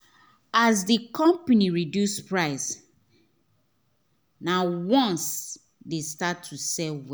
as the the company reduce price nah once they start to sell well